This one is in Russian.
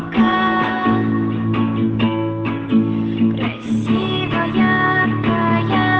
томми